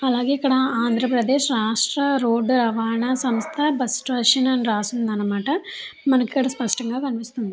అలాగే ఇక్కడ ఆంధ్రప్రదేశ్ రాష్ట్ర రోడ్డు రవాణా సంస్థ బస్సు స్టేషన్ అని రాసి ఉందనిమాట. మనకి ఇక్కడ స్పష్టంగా కనిపిస్తుంది.